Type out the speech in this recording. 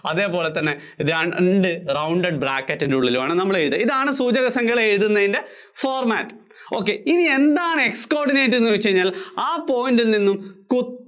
അതേപോലെ തന്നെ രണ്ട് rounded bracket ന്‍റെ ഉള്ളില്‍ വേണം നമ്മൾ എഴുതാൻ ഇതാണ് സൂചകസംഖ്യകൾ എഴുത്തുന്നതിന്‍റെ format